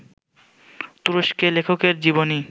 তুরস্কে লেখকের জীবনই